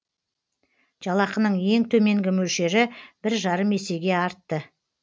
жалақының ең төменгі мөлшері бір жарым есеге артты